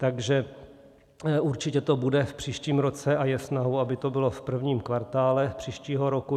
Takže určitě to bude v příštím roce a je snahou, aby to bylo v prvním kvartálu příštího roku.